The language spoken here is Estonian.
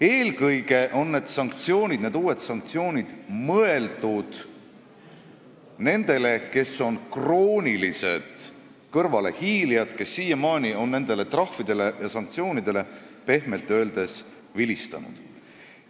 Eelkõige on need uued sanktsioonid mõeldud nendele, kes on kroonilised kõrvalehiilijad, kes siiamaani on nendele trahvidele ja muudele sanktsioonidele pehmelt öeldes vilistanud.